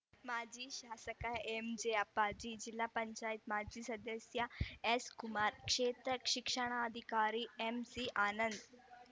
ಮಾಜಿ ಶಾಸಕ ಎಂಜೆ ಅಪ್ಪಾಜಿ ಜಿಲ್ಲಾ ಪಂಚಾಯತ್ ಮಾಜಿ ಸದಸ್ಯ ಎಸ್‌ ಕುಮಾರ್‌ ಕ್ಷೇತ್ರ ಶಿಕ್ಷಣಾಧಿಕಾರಿ ಎಂಸಿ ಆನಂದ್‌